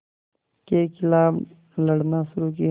के ख़िलाफ़ लड़ना शुरू किया